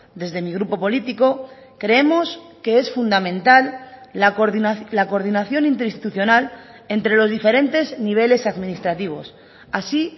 desde mi grupo político creemos que es fundamental la coordinación interinstitucional entre los diferentes niveles administrativos así